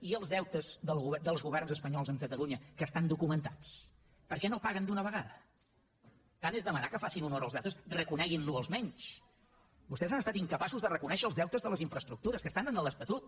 i els deutes dels governs espanyols amb catalunya que estan documentats per què no paguen d’una vegada tant és demanar que facin honor als deutes reconeguin los almenys vostès han estat incapaços de reconèixer els deutes de les infraestructures que estan a l’estatut